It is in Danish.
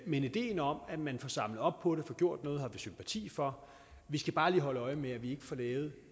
men ideen om at man får samlet op på det og får gjort noget har vi sympati for vi skal bare lige holde øje med at vi ikke får lavet